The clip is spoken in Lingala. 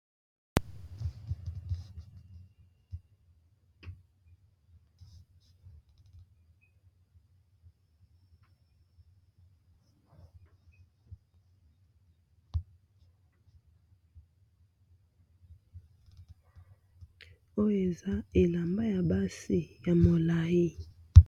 Oyo eza elamba ya basi ya molayi